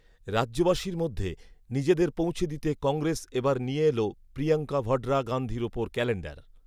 রাজ্যবাসীর মধ্যে নিজেদের পৌঁছে দিতে কংগ্রেস এবার নিয়ে এল প্রিয়ঙ্কা ভঢরা গাঁধীর ওপর ক্যালেন্ডার